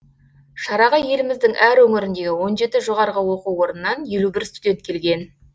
шараға еліміздің әр өңіріндегі он жеті жоғарғы оқу орнынан елу бір студент келген